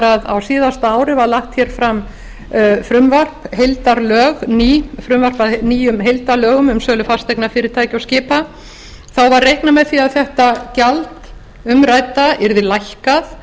að á síðasta ári var lagt hér fram frumvarp að nýjum heildarlögum um sölu fasteigna fyrirtækja og skipa þá var reiknað með því að þetta gjald umrædda yrði lækkað